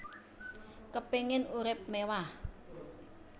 Kepingin urip mewah